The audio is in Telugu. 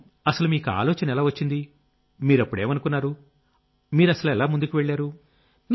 అసలు మీకా ఆలోచన ఎలా వచ్చింది మీరప్పుడేమనుకున్నారు మీరు ఎలా ముందుకెళ్లారు